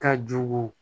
Ka jugu